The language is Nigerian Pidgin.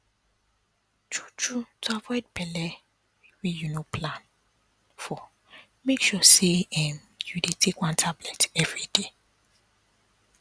true true to avoid belle wey you no plan for make sure say um you dey take one tablet everyday